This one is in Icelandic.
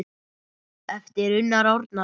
eftir Unnar Árnason